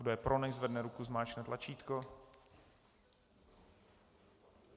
Kdo je pro, nechť zvedne ruku, zmáčkne tlačítko.